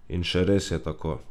In še res je tako.